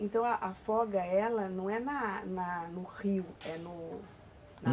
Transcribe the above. Então, afoga, ela não é na na no rio, é no